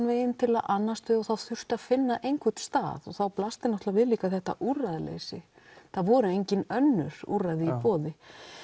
vegin til að annast þau og það þurfti að finna einhvern stað og þá blasti líka við þetta úrræðaleysi það voru engin önnur úrræði í boði